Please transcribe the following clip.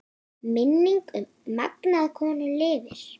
Minning um magnaða konu lifir.